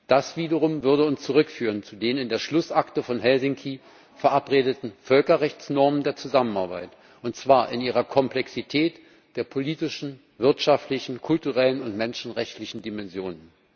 Das wiederum würde uns zurückführen zu den in der Schlussakte von Helsinki verabredeten Völkerrechtsnormen der Zusammenarbeit, und zwar in ihrer Komplexität der politischen, wirtschaftlichen, kulturellen und menschenrechtlichen Dimension.